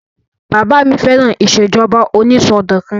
Bàbá mi fẹ́ràn ìṣèjọba onísọdọ̀kan